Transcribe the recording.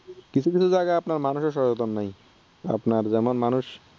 কিছু কিছু জায়গায় মানুষই সচেতন নাই আপনার যেমন মানুষ